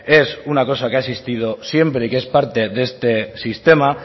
es una cosa que ha existido siempre y que es parte de este sistema